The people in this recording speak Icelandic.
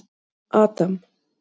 Adam